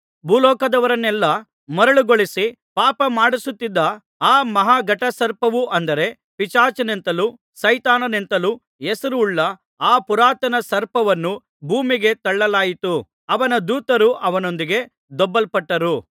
ಭೂಲೋಕದವರನ್ನೆಲ್ಲಾ ಮರುಳುಗೊಳಿಸಿ ಪಾಪ ಮಾಡಿಸುತ್ತಿದ್ದ ಆ ಮಹಾ ಘಟಸರ್ಪವು ಅಂದರೆ ಪಿಶಾಚನೆಂತಲೂ ಸೈತಾನನೆಂತಲೂ ಹೆಸರುಳ್ಳ ಆ ಪುರಾತನ ಸರ್ಪವನ್ನು ಭೂಮಿಗೆ ತಳ್ಳಲಾಯಿತು ಅವನ ದೂತರು ಅವನೊಂದಿಗೆ ದೊಬ್ಬಲ್ಪಟ್ಟರು